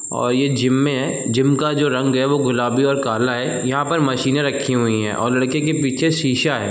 और ये जिम मे है। जिम का जो रंग है वो गुलाबी और काला है। यहां पर मशीने रखी हुई हैं और लड़के के पीछे शीशा है।